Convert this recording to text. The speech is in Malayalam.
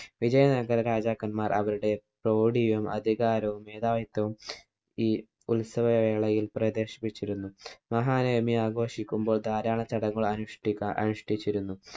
വിജയ നഗര രാജാക്കന്മാര്‍ അവരുടെ തോടിയും, അധികാരവും മേധാവിത്വവും ഈ ഉത്സവ വേളയില്‍ പ്രദര്‍ശിപ്പിച്ചിരുന്നു. മഹാനവമി ആഘോഷിക്കുമ്പോള്‍ ധാരാളം ചടങ്ങുകള്‍ അനുഷ്ടിക്കാ അനുഷ്ടിച്ചിരുന്നു.